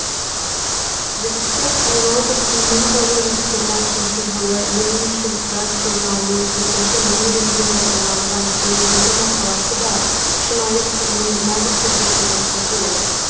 жүсіпбек аймауытовтың мың тоғыз жүз жиырма үшінші жылы лениншіл жас журналының бесінші нөмірінде жарияланған төмендегі мақаласы да шынайы сынның нағыз үлгісі болса керек